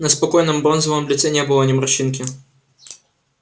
на спокойном бронзовом лице не было ни морщинки